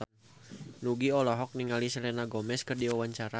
Nugie olohok ningali Selena Gomez keur diwawancara